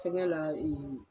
Fɛngɛ la ee